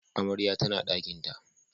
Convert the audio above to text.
Amarya tana dakinta